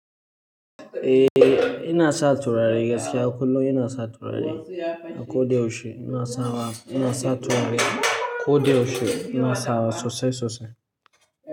Eh ina sa turare gaskiya kullum ina sa turare a ko da yaushe ina sawa ina sa turare ko da yaushe ina sawa sosai sosai.